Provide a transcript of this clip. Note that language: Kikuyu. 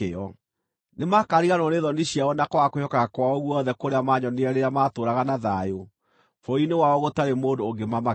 Nĩmakariganĩrwo nĩ thoni ciao na kwaga kwĩhokeka kwao guothe kũrĩa maanyonirie rĩrĩa maatũũraga na thayũ bũrũri-inĩ wao gũtarĩ mũndũ ũngĩmamakia.